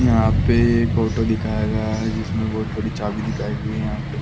यहाँ पे एक ऑटो दिखाया गया है जिसमें बहुत बड़ी चाबी दिखाई गई है यहाँ पे |